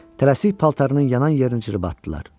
Tələsik paltarının yanan yerini cırıb atdılar.